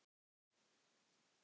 Til hvers er það?